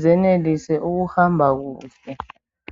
zenelise ukuhamba kuhle.